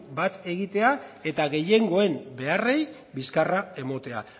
bat egitea eta gehiengoen beharrei bizkarra ematea